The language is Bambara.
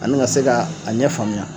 ani ka se ka a ɲɛ faamuya